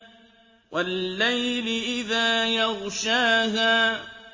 وَاللَّيْلِ إِذَا يَغْشَاهَا